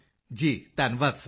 ਮੰਜ਼ੂਰ ਜੀ ਧੰਨਵਾਦ ਸਰ